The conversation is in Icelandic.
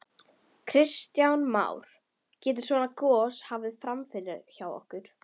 Kristján Már: Getur svona gos hafa farið fram hjá okkur?